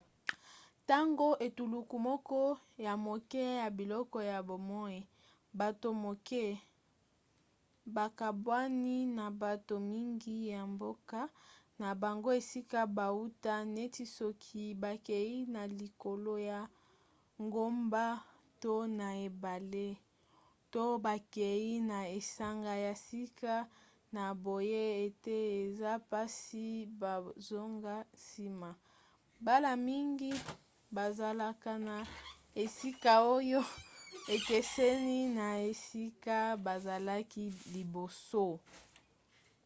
ntango etuluku moko ya moke ya biloko ya bomoi bato moke bakabwani na bato mingi ya mboka na bango esika bauta neti soki bakei na likolo ya ngomba to na ebale to bakei na esanga ya sika na boye ete eza mpasi bazonga nsima mbala mingi bazalaka na esika oyo ekeseni na esika bazalaki liboso